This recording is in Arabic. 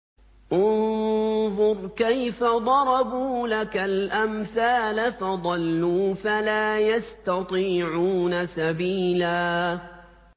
انظُرْ كَيْفَ ضَرَبُوا لَكَ الْأَمْثَالَ فَضَلُّوا فَلَا يَسْتَطِيعُونَ سَبِيلًا